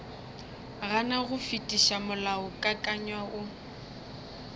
gana go fetiša molaokakanywa wo